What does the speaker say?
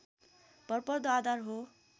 भरपर्दो आधार हो